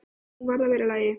Hún varð að vera í lagi.